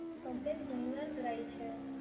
Complain ઘણી વાર કરાઈ છે.